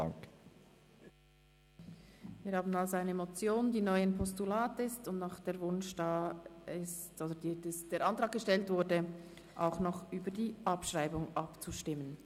Wir haben also eine Motion, die neu ein Postulat ist, und es ist der Antrag gestellt worden, auch noch über die Abschreibung abzustimmen.